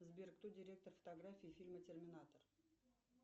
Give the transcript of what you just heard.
сбер кто директор фотографии фильма терминатор